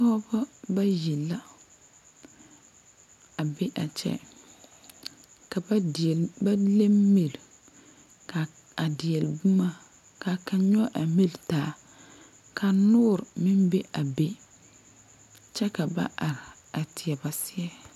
Pɔɔbɔ bayi la a be a kyɛ ka ba deɛle ba le miri ka a deɛle bomma kaa kaŋ nyoge a miri taa ka noore meŋ be a be kyɛ ka ba are a teɛ ba seɛ.